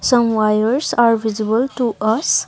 some wires are visible to us.